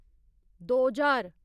दो ज्हार